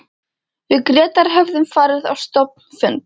Við Grétar höfðum farið á stofnfund